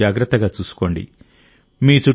మిమ్మల్ని మీరు జాగ్రత్తగా చూసుకోండి